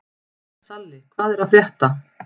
Salli, hvað er að frétta?